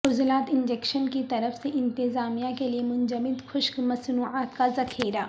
عضلات injection کی طرف سے انتظامیہ کے لئے منجمد خشک مصنوعات کا ذخیرہ